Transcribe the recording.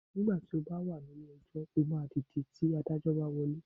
Nígbà tí ó bá wà nílé ejọ́, ó máa dìde nígbà tí Adájọ́ bá wọlé.